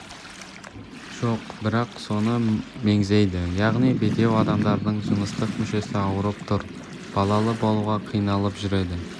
жоқ бірақ соны меңзейді яғни бедеу адамдардың жыныстық мүшесі ауырып тұр балалы болуға қиналып жүреді